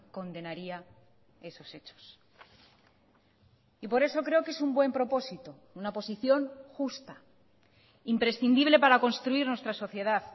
condenaría esos hechos y por eso creo que es un buen propósito una posición justa imprescindible para construir nuestra sociedad